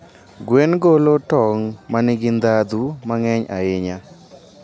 Gweno golo tong' ma nigi ndhadhu mang'eny ahinya.